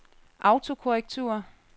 autokorrektur